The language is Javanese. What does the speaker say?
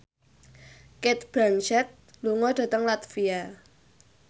Cate Blanchett lunga dhateng latvia